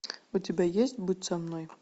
у тебя есть будь со мной